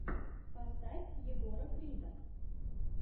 поставь егора крида